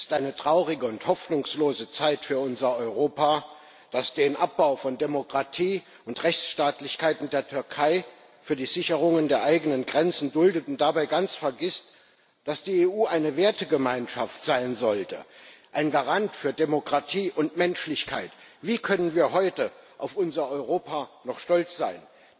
Es ist eine traurige und hoffnungslose Zeit für unser Europa, das den Abbau von Demokratie und Rechtsstaatlichkeit in der Türkei für die Sicherung der eigenen Grenzen duldet und dabei ganz vergisst, dass die EU eine Wertegemeinschaft sein sollte, ein Garant für Demokratie und Menschlichkeit. Wie können wir heute auf unser Europa noch stolz sein?